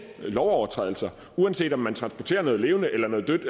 lovovertrædelser uanset om man transporterer noget levende eller noget dødt